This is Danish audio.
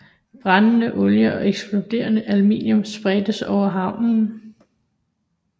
Brændende olie og eksploderende ammunition spredtes over havnen